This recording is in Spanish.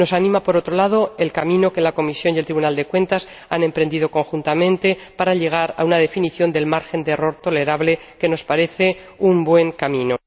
Nos anima, por otro lado, el camino que la Comisión y el Tribunal de Cuentas han emprendido conjuntamente para llegar a una definición del margen de error tolerable, que nos parece un buen camino.